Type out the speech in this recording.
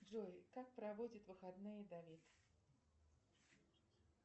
джой как проводит выходные давид